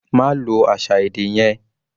Ma lo àṣà èdè yẹn.